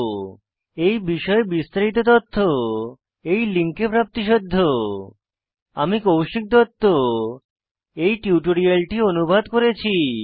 এই বিষয়ে বিস্তারিত তথ্য এই লিঙ্কে প্রাপ্তিসাধ্য spoken hyphen tutorial dot org slash NMEICT hyphen intro আমি কৌশিক দত্ত এই টিউটোরিয়ালটি অনুবাদ করেছি